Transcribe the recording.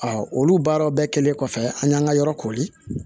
olu baaraw bɛɛ kɛlen kɔfɛ an y'an ka yɔrɔ kori